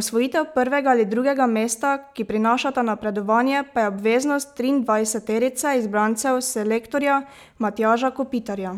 osvojitev prvega ali drugega mesta, ki prinašata napredovanje, pa je obveznost triindvajseterice izbrancev selektorja Matjaža Kopitarja.